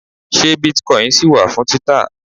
ṣe bitcoin ṣì wà fún títà